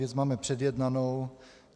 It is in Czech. Věc máme předjednanou.